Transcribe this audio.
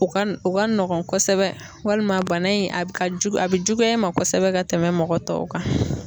O ka o ka nɔgɔn kosɛbɛ .Walima bana in a ka jugu a be juguya i ma kosɛbɛ ka tɛmɛ mɔgɔ tɔw kan.